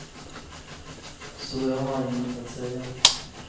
Så jag har inget att säga.